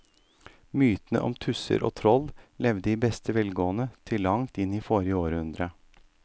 Mytene om tusser og troll levde i beste velgående til langt inn i forrige århundre.